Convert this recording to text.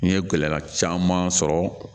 N ye gɛlɛya caman sɔrɔ